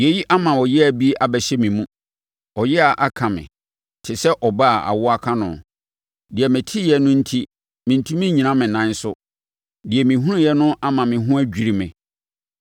Yei ama ɔyea bi abɛhyɛ me mu, ɔyea aka me, te sɛ ɔbaa a awoɔ aka no; deɛ meteɛ no enti mentumi nnyina me nan so, deɛ mehunu no ama me ho adwiri me.